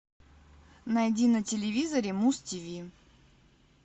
найди на телевизоре муз тв